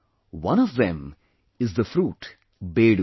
One of them is the fruit Bedu